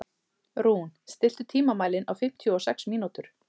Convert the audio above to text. Rún, stilltu tímamælinn á fimmtíu og sex mínútur.